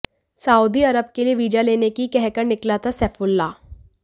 Saudi Arab के लिए visa लेने की कहकर निकला था सैफुल्ला